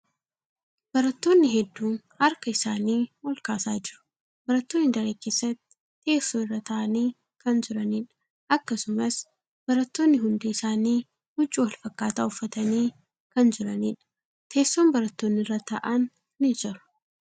Barattoonni hedduun harka isaanii ol kaasaa jiru. Barattoonni daree keessatti teessoo irra taa'anii kan jiraniidha. Akkasumas, barattoonni hundi isaanii huccuu walfakkaataa uffatanii kan jiraniidha. Teesson barattoonni irra taa'an ni jira.